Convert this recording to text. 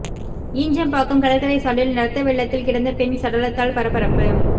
ஈஞ்சம்பாக்கம் கடற்கரை சாலையில் ரத்த வெள்ளத்தில் கிடந்த பெண் சடலத்தால் பரபரப்பு